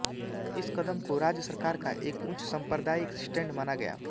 इस कदम को राज्य सरकार का एक उच्च साम्प्रदायिक स्टैंड माना गया